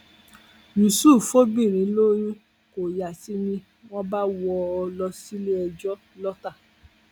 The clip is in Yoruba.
yusuf fobìnrin lóyún kó yá sí i ni wọn bá wọ ọ lọ síléẹjọ lọta